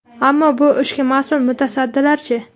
Ammo bu ishga mas’ul mutasaddilar-chi?